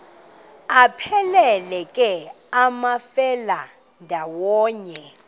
aphelela ke amafelandawonye